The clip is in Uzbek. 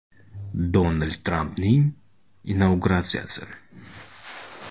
Donald Trampning inauguratsiyasi.